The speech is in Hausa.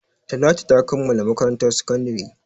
Talatu ta kammala makarantar sakandare.